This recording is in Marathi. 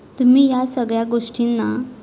तुम्ही या सगळ्या गोष्टीना